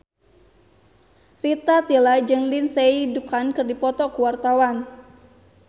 Rita Tila jeung Lindsay Ducan keur dipoto ku wartawan